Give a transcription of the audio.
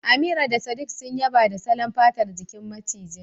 Amira da sadiq sun yaba da salon fatar jikin macijin